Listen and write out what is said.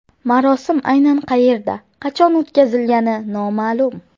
Marosim aynan qayerda, qachon o‘tkazilgani noma’lum.